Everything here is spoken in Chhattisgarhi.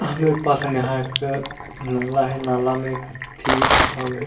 हम देख पाथन यहाँ एक नाला हे नाला में एक हाथी हवे--